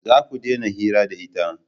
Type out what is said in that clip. Za ku dena yin hira da ita